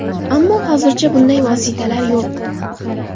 Ammo hozircha bunday vositalar yo‘q.